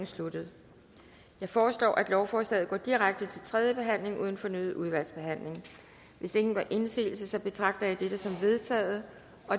sluttet jeg foreslår at lovforslaget går direkte til tredje behandling uden fornyet udvalgsbehandling hvis ingen gør indsigelse betragter jeg dette som vedtaget